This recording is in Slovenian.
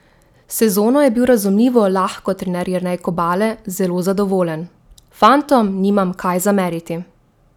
S sezono je bil razumljivo lahko trener Jernej Kobale zelo zadovoljen: "Fantom nimam kaj zameriti.